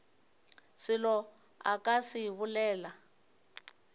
selo a ka se bolele